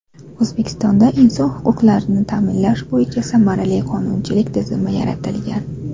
O‘zbekistonda inson huquqlarini ta’minlash bo‘yicha samarali qonunchilik tizimi yaratilgan.